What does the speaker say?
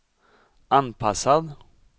anpassad